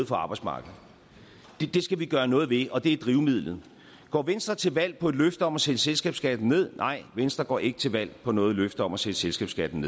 for arbejdsmarkedet det skal vi gøre noget ved og det er drivmidlet går venstre til valg på et løfte om at sætte selskabskatten ned nej venstre går ikke til valg på noget løfte om at sætte selskabsskatten